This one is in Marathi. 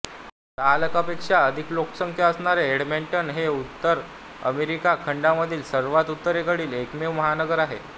दहा लाखांपेक्षा अधिक लोकसंख्या असणारे एडमंटन हे उत्तर अमेरिका खंडामधील सर्वात उत्तरेकडील एकमेव महानगर आहे